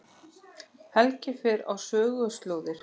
Helgi fer á söguslóðir